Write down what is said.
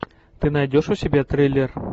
ты найдешь у себя триллер